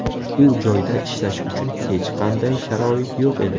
U joyda ishlash uchun hech qanday sharoit yo‘q edi.